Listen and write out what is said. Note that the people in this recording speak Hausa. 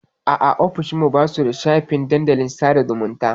A'a, ofishin mu ba su da shafin dandalin sada zumunta.